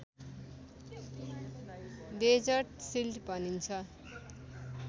desert सिल्ड भनिन्छ